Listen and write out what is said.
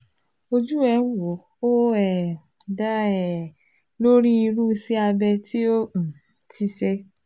Ojú ẹ̀ ń wò, ó um da um lórí irú iṣẹ́ abẹ́ tó o um ti ṣe